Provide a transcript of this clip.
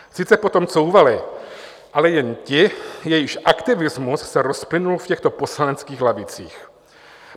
Sice potom couvali, ale jen ti, jejichž aktivismus se rozplynul v těchto poslaneckých lavicích.